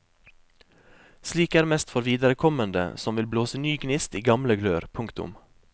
Slikt er mest for viderekommende som vil blåse ny gnist i gamle glør. punktum